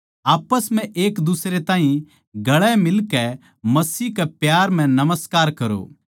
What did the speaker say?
आप्पस म्ह एकदुसरे ताहीं गले मिलकै मसीह के प्यार म्ह नमस्कार करो